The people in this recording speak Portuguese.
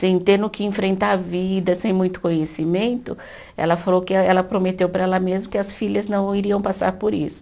Sem ter no que enfrentar a vida, sem muito conhecimento, ela falou que, ela prometeu para ela mesmo que as filhas não iriam passar por isso.